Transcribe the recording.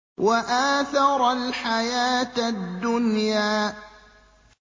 وَآثَرَ الْحَيَاةَ الدُّنْيَا